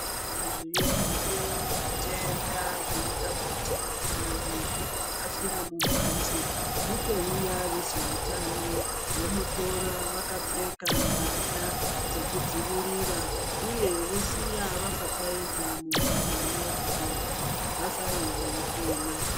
Zviriyo zvitenda zvinoda kuti kana muntu afira mumbatso mutouya vezveutano vomutora vakapfeka mbatya dzokudzivirira uye vosiya vapfapfaidza mumbatso mwoo kuti vantu vasare veipona.